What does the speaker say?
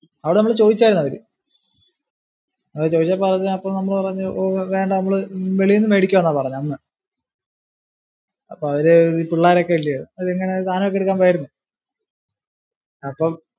അവിടെ നമ്മളോട് ചോദിച്ചാരുന്നു അവര് അത് ചോദിച്ചപ്പോ നമ്മള് പറഞ്ഞു ഓ വേണ്ട നമ്മള് അവര് വെളിന്ന് മേടിക്കാം എന്നാ പറഞ്ഞെ അന്ന് അപ്പൊ അവര് ഈ പിള്ളേരൊക്കെ അല്ലിയോ. അവര് സാധനം ഒക്കെ എടുക്കാൻ പോയിരുന്നു. അപ്പം